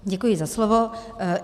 Děkuji za slovo.